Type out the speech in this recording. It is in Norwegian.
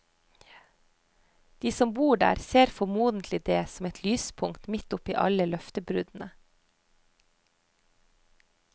De som bor der, ser formodentlig dét som et lyspunkt midt oppe i alle løftebruddene.